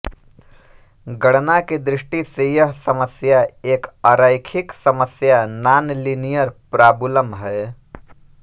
गणना की दृष्टि से यह समस्या एक अरैखिक समस्या नॉनलिनियर प्रॉबुलम है